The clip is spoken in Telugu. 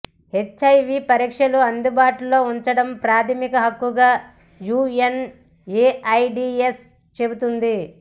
హెచ్ఐవి పరీక్షలు అందుబాటులో ఉంచడం ప్రాథమిక హక్కుగా యుఎన్ఎఐడిఎస్ చెబుతోంది